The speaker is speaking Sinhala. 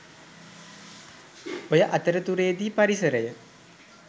ඔය අතරතුරේදී පරිසරය